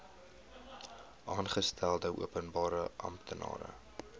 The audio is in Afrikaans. aangestelde openbare amptenaar